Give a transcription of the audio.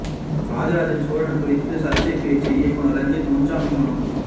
ராஜராஜ சோழன் குறித்து சர்ச்சை பேச்சு இயக்குநர் ரஞ்சித் முன்ஜாமீன் மனு